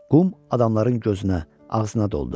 Qum adamların gözünə, ağzına doldu.